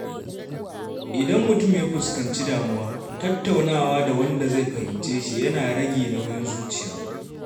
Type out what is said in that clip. Idan mutum ya fuskanci damuwa, tattaunawa da wanda zai fahimce shi yana rage nauyin zuciya.